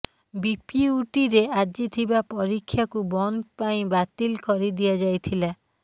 ବିପିୟୁଟିରେ ଆଜି ଥିବା ପରୀକ୍ଷାକୁ ବନ୍ଦ ପାଇଁ ବାତିଲ୍ କରିଦିଆଯାଇଥିଲା